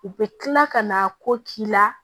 U bɛ kila ka na ko k'i la